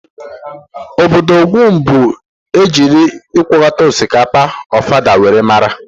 Ọbọdọ Ogun bụ nke ejiri ịkọpụta osikapa Ofada wee maara.